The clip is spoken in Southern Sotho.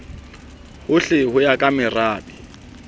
hohle ho ya ka merabe